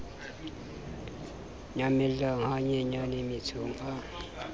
nyamella ha nyenyane mmetsong a